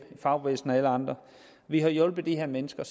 fagbevægelsen og alle andre vi har hjulpet de her mennesker